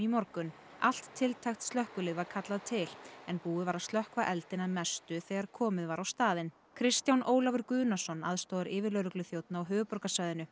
morgun allt tiltækt slökkvilið var kallað til en búið var að slökkva eldinn að mestu þegar komið var á staðinn Kristján Ólafur Guðnason aðstoðaryfirlögregluþjónn á höfuðborgarsvæðinu